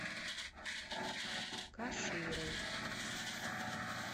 каширой